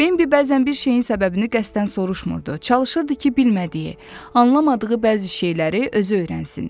Bimbi bəzən bir şeyin səbəbini qəsdən soruşmurdu, çalışırdı ki, bilmədiyi, anlamadığı bəzi şeyləri özü öyrənsin.